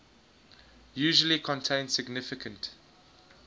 usually contain significant